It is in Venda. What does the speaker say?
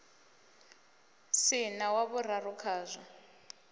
si na wa vhuraru khazwo